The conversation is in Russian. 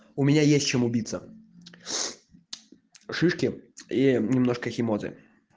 у меня есть чем убиться шишки и немножко химозы